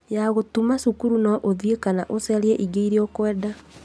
Yagũtũma cukuru no ũthiĩ kana ũcarie ĩngĩ ĩrĩa ũkwenda